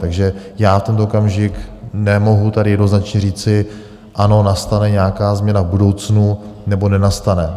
Takže já v tento okamžik nemohu tady jednoznačně říci: Ano, nastane nějaká změna v budoucnu nebo nenastane.